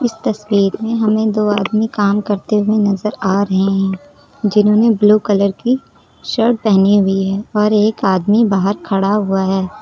तस्वीर में हमें दो आदमी काम करते हुए नजर आ रहे हैं जिन्होंने ब्लू कलर की शर्ट पेहनी हुई है और एक आदमी बाहर खड़ा हुआ है।